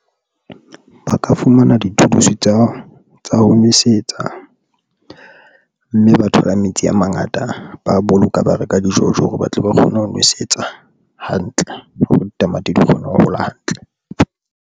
Ba ka fumana di-tools tsa ho nwesetsa mme ba thola metsi a mangata, ba a boloka ba reka di-jojo hore batle ba kgone ho nwesetsa hantle hore ditamati di kgone ho hola hantle.